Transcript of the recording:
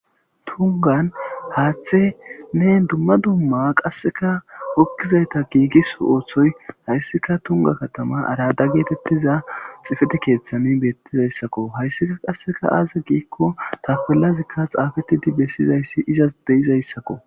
Tunggan haththinne dumma dumma qasekka ukkizayththa gigiso othoy hayssika tunggan katama arada gettetiza xifette keththan betizayssakko. Hayssika qasekka aaze giko tapellazikka xafettidi besizayssi izas be'izayssakko.